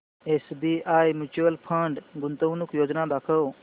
SBI mutual fund गुंतवणूक योजना दाखव